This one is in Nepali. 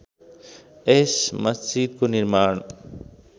यस मस्जितको निर्माण